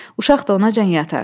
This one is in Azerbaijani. Uşaq da onacan yatar.